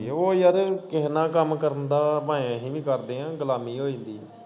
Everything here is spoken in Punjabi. ਓ ਯਾਰ ਕੇਹੇ ਨਾਲ ਕੰਮ ਕਰਨ ਦਾ ਭਾਏ ਅਹੀ ਵੀ ਕਰਦੇ ਆ ਗੁਲਾਮੀ ਹੋ ਜਾਂਦੀ ਐ।